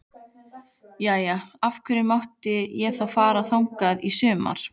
Jæja, af hverju mátti ég þá fara þangað í sumar?